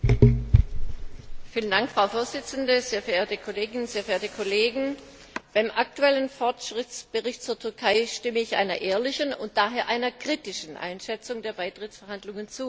Frau Präsidentin, sehr verehrte Kolleginnen und Kollegen! Beim aktuellen Fortschrittsbericht zur Türkei stimme ich einer ehrlichen und daher einer kritischen Einschätzung der Beitrittsverhandlungen zu.